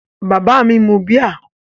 Bàbá mi mu bíà?